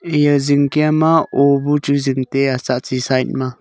eya zingkia ma ou bu chu zing taiya tsahtsi side ma.